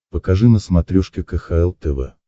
покажи на смотрешке кхл тв